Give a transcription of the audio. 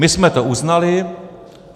My jsme to uznali.